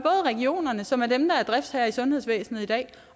regionerne som er dem der er driftsherrer i sundhedsvæsenet i dag